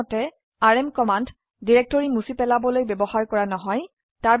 সাধাৰণতে RM command directory মুছি পেলাবলৈ ব্যবহাৰ কৰা নহয়